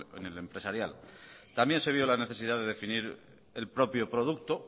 en el empresarial también se vio la necesidad de definir el propio producto